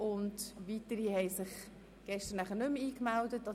Weitere Sprecherinnen und Sprecher haben sich gestern nicht mehr angemeldet.